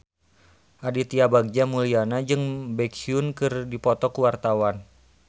Aditya Bagja Mulyana jeung Baekhyun keur dipoto ku wartawan